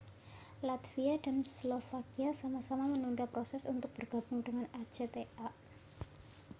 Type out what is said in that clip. latvia dan slovakia sama-sama menunda proses untuk bergabung dengan acta